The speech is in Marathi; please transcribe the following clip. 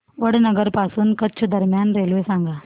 वडनगर पासून कच्छ दरम्यान रेल्वे सांगा